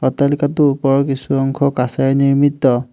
অট্টালিকাটো ওপৰৰ কিছু অংশ কাঁচেৰে নিৰ্মিত।